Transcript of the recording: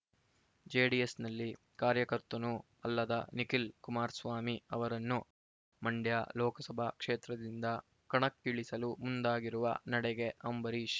ಜೆಡಿಎಸ್‌ನಲ್ಲಿ ಕಾರ್ಯಕರ್ತನೂ ಅಲ್ಲದ ನಿಖಿಲ್ ಕುಮಾರ್ ಸ್ವಾಮಿ ಅವರನ್ನು ಮಂಡ್ಯ ಲೋಕಸಭಾ ಕ್ಷೇತ್ರದಿಂದ ಕಣಕ್ಕಿಳಿಸಲು ಮುಂದಾಗಿರುವ ನಡೆಗೆ ಅಂಬರೀಶ್